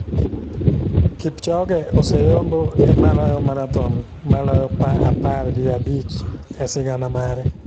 Kipchoge oseyombo e maloyo marathon maloyo par gi abich e sigana mare.